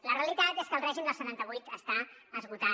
la realitat és que el règim del setanta vuit està esgotat